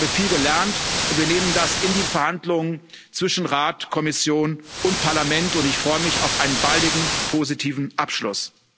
Ich habe viel gelernt, und wir nehmen das in die Verhandlungen zwischen Rat, Kommission und Parlament, und ich freue mich auf einen baldigen positiven Abschluss.